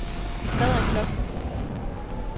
Hvad er klokken